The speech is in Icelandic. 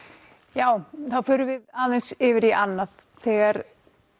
já þá förum við aðeins yfir í annað þegar